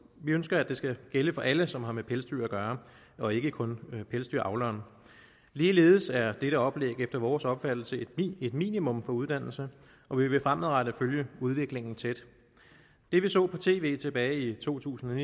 ønsker at det skal gælde for alle som har med pelsdyr at gøre og ikke kun for pelsdyravleren ligeledes er dette oplæg efter vores opfattelse et minimum for uddannelse og vi vil fremadrettet følge udviklingen tæt det vi så på tv tilbage i to tusind